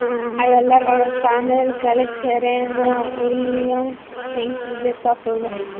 Ayollar orasida amerikalik Serena Uilyams tengsiz deb topildi.